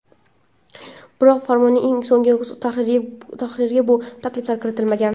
Biroq, Farmonning eng so‘nggi tahririga bu takliflar kiritilmagan.